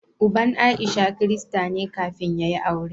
Uban Aisha Kirista ne kafin ya yi aure.